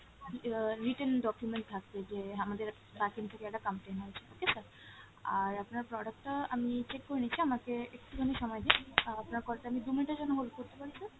আহ written document থাকবে যে আমাদের backend থেকে একটা complain হয়েছে ঠিক আছে sir? আর আপনার product টা আমি check করে নিচ্ছি আমাকে একটুখানি সময় দিন আহ আপনার call টা আমি দু minute এর জন্য hold করতে পারি sir?